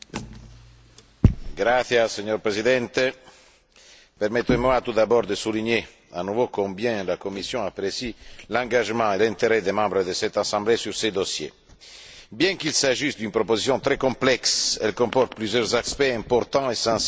Monsieur le Président, permettez moi tout d'abord de souligner à nouveau combien la Commission apprécie l'engagement et l'intérêt des membres de cette Assemblée sur ce dossier. Bien qu'il s'agisse d'une proposition très complexe, elle comporte plusieurs aspects importants et sensibles du point de vue politique.